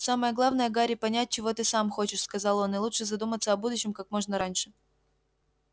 самое главное гарри понять чего ты сам хочешь сказал он и лучше задуматься о будущем как можно раньше